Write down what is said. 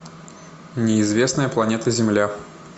неизвестная планета земля